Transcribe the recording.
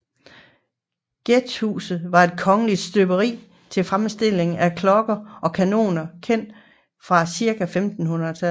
Gjethuset var et kongeligt støberi til fremstilling af klokker og kanoner kendt fra cirka 1500